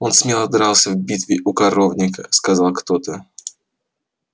он смело дрался в битве у коровника сказал кто-то